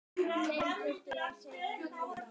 Ætlið þér að skrifa fleiri svona sorglegar sögur?